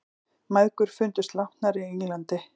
Mæðgur fundust látnar í Englandi